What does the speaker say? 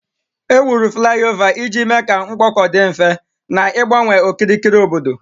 Ewuru fulaiova iji mee ka mkpọkọ dị mfe, na-igbanwe okirikiri obodo.